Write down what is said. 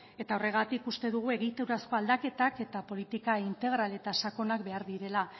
eta horregatik uste dugu egiturazko aldaketak eta politika integral eta sakonak behar direla